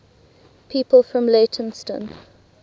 people from leytonstone